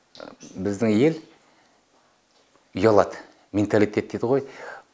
біздің ел ұялады менталитет дейді ғой